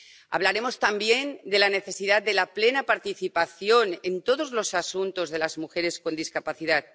Hablaremos también de la necesidad de la plena participación en todos los asuntos de las mujeres con discapacidad